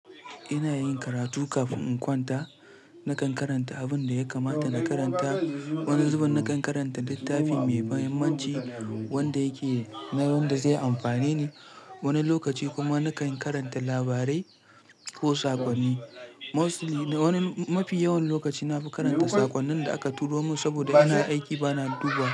Ina yin karatu kafin in kwanta. Nakan karanta abin da ya kamata na karanta. Wani zubin nakan karanta littafi mai muhimmanci wanda yake na wanda zai amfane ni wani lokaci kuma nakan karanta labarai ko saƙonni. Mostly da wani mafi yawan lokaci na fi karanta saƙonnin da aka turo mun saboda ina aiki bana duba.